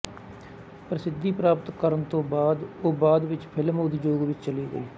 ਪ੍ਰਸਿੱਧੀ ਪ੍ਰਾਪਤ ਕਰਨ ਤੋਂ ਬਾਅਦ ਉਹ ਬਾਅਦ ਵਿੱਚ ਫਿਲਮ ਉਦਯੋਗ ਵਿੱਚ ਚਲੀ ਗਈ